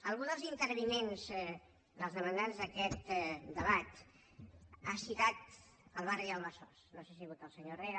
algun dels intervinents dels demandants d’aquest debat ha citat el barri del besós no sé si ha sigut el senyor herrera